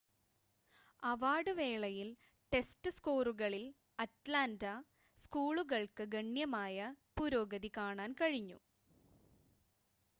award വേളയിൽ, test സ്കോറുകളിൽ Atlanta സ്ക്കൂളുകൾക്ക് ഗണ്യമായ പുരോഗതി കാണാൻ കഴിഞ്ഞു